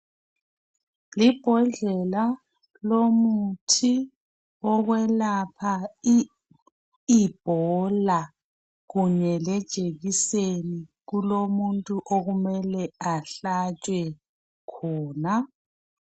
Libhodlela lomuthi wokwelapha i ibola kunye lejekiseni kulomuntu okumele ahlatshwe khona .